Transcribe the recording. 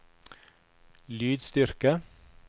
lydstyrke